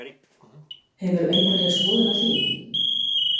Hefur þú einhverja skoðun á því?